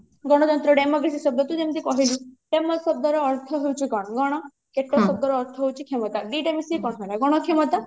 ଗଣତନ୍ତ୍ରଣ democracy ଶବ୍ଦ ତୁ ଯେମତି କହିଲୁ ଡେମୋସ ଶବ୍ଦ ର ଅର୍ଥ ହଉଛି କଣ ଗଣ କ୍ରାଟୋସ ଶବ୍ଦ ର ଅର୍ଥ ହଉଛି କ୍ଷମତା ଦିଟା ମିସିକି କଣ ହେଲା ଗଣକ୍ଷମତା